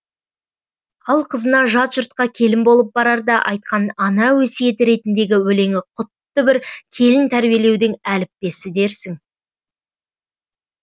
ал қызына жат жұртқа келін болып барарда айтқан ана өсиеті ретіндегі өлеңі құтты бір келін тәрбиелеудің әліппесі дерсің